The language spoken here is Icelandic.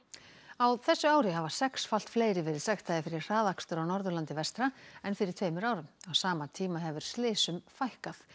á þessu ári hafa sexfalt fleiri verið sektaðir fyrir hraðakstur á Norðurlandi vestra en fyrir tveimur árum á sama tíma hefur slysum fækkað